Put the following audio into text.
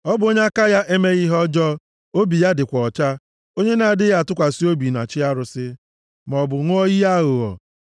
Ọ bụ onye aka ya emeghị ihe ọjọọ, obi ya dịkwa ọcha, onye na-adịghị atụkwasị obi na chi arụsị, maọbụ ṅụọ iyi aghụghọ.